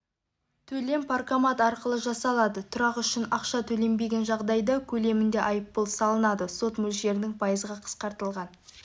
төлем паркомат арқылы жасалады тұрақ үшін ақша төленбеген жағдайда көлемінде айыппұл салынады сот мөлшерінің пайызға қысқартылған